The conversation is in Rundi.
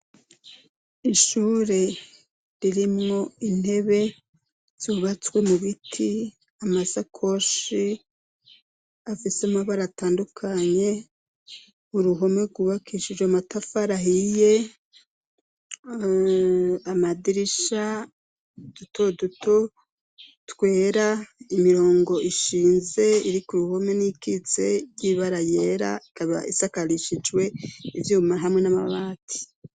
Ishure ririmwo intebe zubatswe mu biti, amasakoshi afise amabara atandukanye, uruhome rwubakishije matafari ahiye, amadirisha duto duto twera, imirongo ishinze iri k'uruhome, n'iyikitse y'ibara ryera, ikaba isakarishijwe ivyuma hamwe n'amabati.